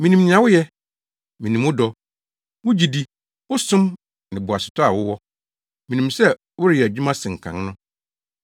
Minim nea woyɛ. Minim wo dɔ, wo gyidi, wo som ne boasetɔ a wowɔ. Minim sɛ woreyɛ adwuma sen kan no.